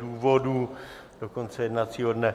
důvodů do konce jednacího dne.